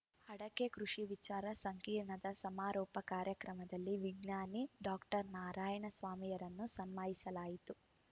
ಅಡಕೆ ಕೃಷಿ ವಿಚಾರ ಸಂಕಿರಣದ ಸಮಾರೋಪ ಕಾರ್ಯಕ್ರಮದಲ್ಲಿ ವಿಜ್ಞಾನಿ ಡಾಕ್ಟರ್ ನಾರಾಯಣ ಸ್ವಾಮಿರನ್ನು ಸನ್ಮಾನಿಸಲಾಯಿತು